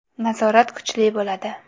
Nazorat kuchli bo‘ladi.